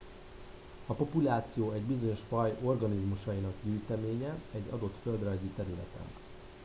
a populáció egy bizonyos faj organizmusainak gyűjteménye egy adott földrajzi területen